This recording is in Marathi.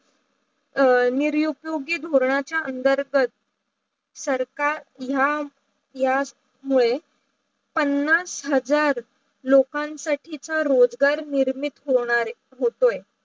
निरूपीयोगी धून चा अनतर्गत सरकार या या मुडे पन्नास हजार लोकन साठी च रोजगार निर्मित होणा रे हो त्याो